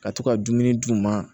Ka to ka dumuni d'u ma